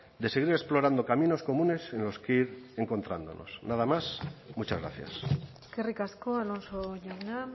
de seguir explorando caminos comunes en los que ir encontrándonos nada más muchas gracias eskerrik asko alonso jauna